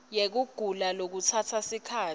yekugula lokutsatsa sikhatsi